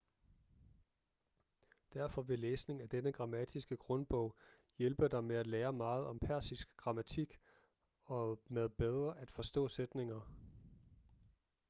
derfor vil læsning af denne grammatiske grundbog hjælpe dig med at lære meget om persisk grammatik og med bedre at forstå sætninger